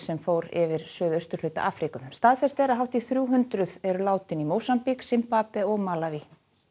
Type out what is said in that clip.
sem fór yfir suðausturhluta Afríku staðfest er að hátt í þrjú hundruð eru látin í Mósambík Simbabve og Malaví